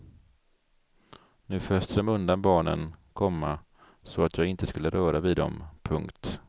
Nu föste de undan barnen, komma så att jag inte skulle röra vid dem. punkt